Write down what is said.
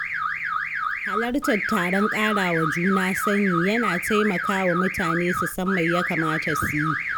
Halartar taron ƙarawa juna sani, yana taimakawa mutane su san me ya kamata su yi.